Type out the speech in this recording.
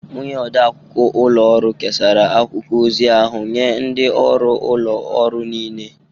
Onye odeakwụkwọ ụlọ ọrụ kesara akwụkwọ ozi ahụ nye ndị ọrụ ụlọ ọrụ niile.